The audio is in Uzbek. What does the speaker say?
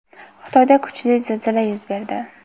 Xitoyda kuchli zilzila yuz berdi.